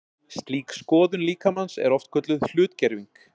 Slík skoðun líkamans er oft kölluð hlutgerving.